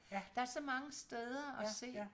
Der så mange steder at se